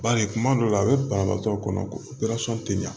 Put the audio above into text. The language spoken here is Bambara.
Bari kuma dɔw la a be banabaatɔ kɔnɔ ko tɛ ɲa